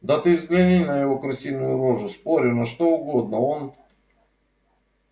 да ты взгляни на его крысиную рожу спорю на что угодно он